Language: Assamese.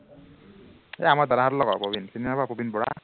এৰ আমাৰ দাদাহঁতৰ লগৰ প্ৰবিণ, চিনি নাপাৱ প্ৰবিণ বৰা